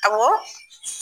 Awɔ.